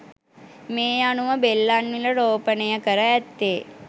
මේ අනුව බෙල්ලන්විල රෝපණය කර ඇත්තේ